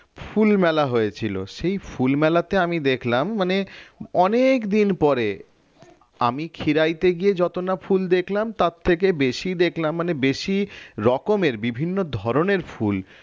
ফুল মেলা হয়েছিল সেই ফুলমালাতে আমি দেখলাম মানে অনেকদিন পরে আমি খিরাইতে গিয়ে যত না ফুল দেখলাম তার থেকে বেশি দেখলাম মানে বেশি রকমের বিভিন্ন ধরনের ফুল